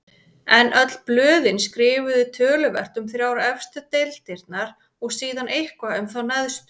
En öll blöðin skrifuðu töluvert um þrjár efstu deildirnar og síðan eitthvað um þá neðstu.